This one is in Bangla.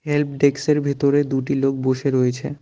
হেল্পডেক্সের -এর ভেতরে দুটি লোক বসে রয়েছে।